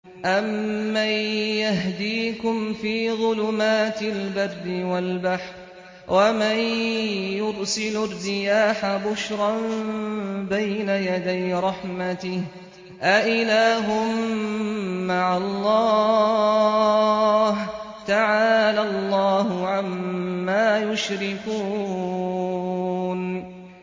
أَمَّن يَهْدِيكُمْ فِي ظُلُمَاتِ الْبَرِّ وَالْبَحْرِ وَمَن يُرْسِلُ الرِّيَاحَ بُشْرًا بَيْنَ يَدَيْ رَحْمَتِهِ ۗ أَإِلَٰهٌ مَّعَ اللَّهِ ۚ تَعَالَى اللَّهُ عَمَّا يُشْرِكُونَ